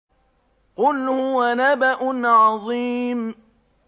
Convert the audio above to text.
قُلْ هُوَ نَبَأٌ عَظِيمٌ